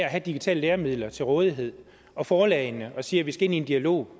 have digitale læremidler til rådighed og forlagene op og siger at vi skal ind i en dialog